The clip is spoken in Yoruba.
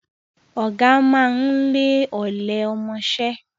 Ọ̀gá máa ń lé ọ̀lẹ ọmọṣẹ́